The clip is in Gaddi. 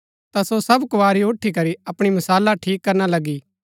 ता सो सब कुँवारी उठी करी अपणी मशाला ठीक करना लगी